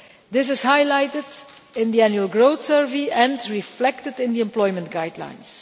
This is highlighted in the annual growth survey and reflected in the employment guidelines.